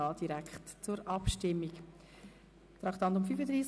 – Dies ist nicht der Fall.